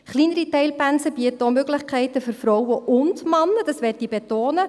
Kleinere Teilpensen bieten auch Möglichkeiten für Frauen Männer, und dies möchte ich betonen: